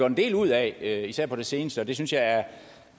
en del ud af især på det seneste og det synes jeg er